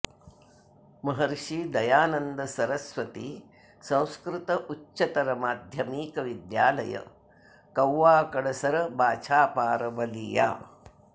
महर्षि दयानन्द सरस्वती संस्कृत उच्चतर माध्यमिक विद्यालय कौवा कड़सर बाछापार बलिया